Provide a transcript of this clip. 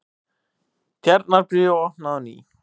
Tjarnarbíó opnað á ný